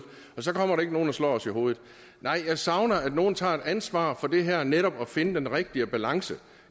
og så kommer der ikke nogen og slår os i hovedet nej jeg savner at nogen tager et ansvar for det her med netop at finde den rigtige balance